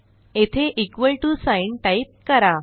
येथे equal to sign type करा